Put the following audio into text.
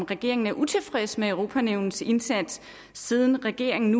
regeringen utilfreds med europanævnets indsats siden regeringen